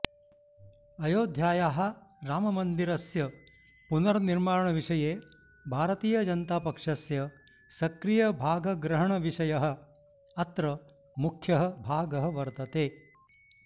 अयोध्यायाः राममन्दिरस्य पुनर्निर्माणविषये भारतीयजनतापक्षस्य सक्रियभागग्रहणविषयः अत्र मुख्यः भागः वर्तते